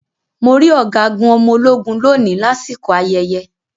Mo rí Ọ̀gágun ọmọ ológun lóni lásìkò ayẹyẹ.